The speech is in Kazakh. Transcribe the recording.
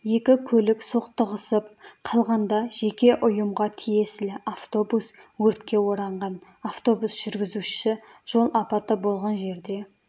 екі көлік соқтығысып қалғанда жеке ұйымға тиесілі автобус өртке оранған автобус жүргізушісі жол апаты болған жерде